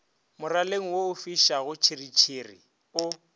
moraleng wo ofišago tšhiritšhiri o